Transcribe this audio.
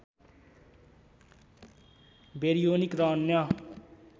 baryonic र अन्य